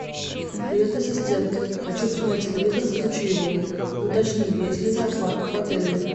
привет ассистент хочу посмотреть телевизор включи его и уточни есть ли зоопарк в отеле